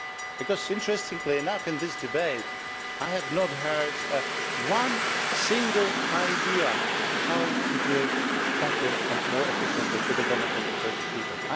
Because, interestingly enough in this debate, I have not heard one single idea how to do it better and more efficiently to the benefit of the Turkish people.